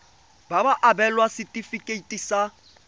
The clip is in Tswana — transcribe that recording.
ba ka abelwa setefikeiti sa